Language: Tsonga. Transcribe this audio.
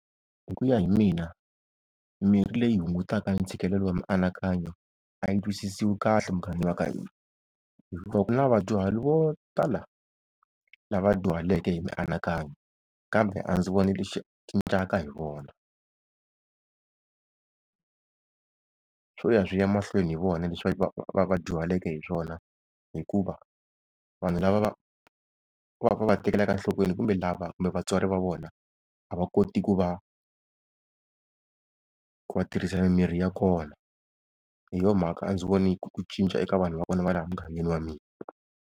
Hi ku ya hi mina, mirhi leyi hungutaka ntshikelelo wa mianakanyo a yi twisisiwi kahle muganga wa ka hina. Hikuva ku na vadyuhari vo tala lava dyuhaleke hi mianakanyo, kambe a ndzi voni lexi cincaka hi vona swo ya swi ya mahlweni hi vona leswi va vadyuhaleke hi swona. Hikuva vanhu lava va, va va ku va va tekelaka enhlokweni kumbe lava, kumbe vatswari va vona a va koti ku va, ku va tirhisela mimirhi ya kona. Hi yo mhaka a ndzi voni ku cinca eka vanhu va kona va laha mugangeni wa mina.